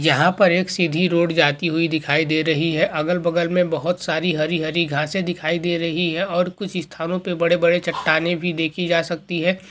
यहां पर एक सीधी रोड जाती हुई दिखाई दे रही है। अगल-बगल में बहुत सारी हरी-हरी घासें दिखाई दे रही है। और कुछ स्थानों पर बड़े-बड़े चट्टानें भी देखी जा सकती है।